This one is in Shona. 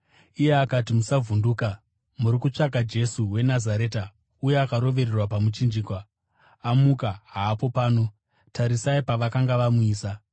Iye akati, “Musavhunduka. Muri kutsvaka Jesu weNazareta, uya akarovererwa pamuchinjikwa. Amuka! Haapo pano. Tarisai pavakanga vamuisa.